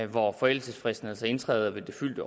hvor forældelsesfristen altså indtræder ved det fyldte